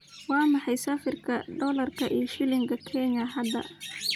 waa maxay sarifka dollarka iyo shilinka kenya hadda?